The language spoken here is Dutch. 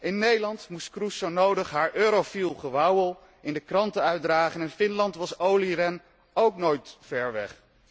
In Nederland moest Kroes zo nodig haar eurofiel gewauwel in de kranten uitdragen, in Finland was Olli Rehn ook nooit ver weg.